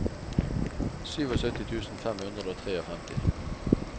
syttisju tusen fem hundre og femtitre